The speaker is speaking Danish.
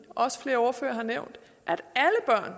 også flere ordførere har nævnt